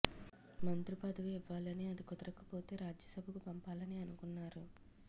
మంత్రి పదవి ఇవ్వాలని అది కుదరకపోతే రాజ్యసభకు పంపాలని అనుకున్నారు